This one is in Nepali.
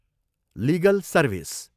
Legal service.